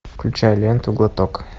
включай ленту глоток